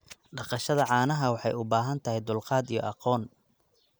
Dhaqashada caanaha waxay u baahan tahay dulqaad iyo aqoon.